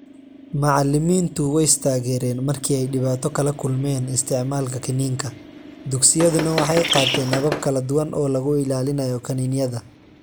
Macallimiintu way is taageereen markii ay dhibaato kala kulmeen isticmaalka kiniinka, dugsiyaduna waxay qaateen habab kala duwan oo lagu ilaalinayo kaniiniyada.